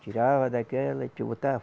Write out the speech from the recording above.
Tirava daquela e